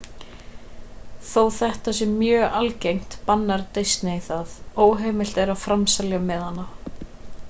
þó þetta sé mjög algengt bannar disney það óheimilt er að framselja miðana